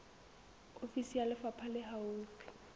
ofisi ya lefapha le haufi